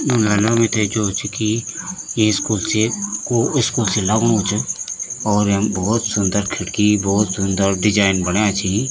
इम्मे ना मीथे जो च की ये स्कूल से को स्कूल सी लगणु च और यम भौत सुन्दर खिड़की भौत सुन्दर दिजेंन बण्या छी।